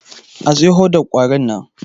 A siyo hodar kwarin nan!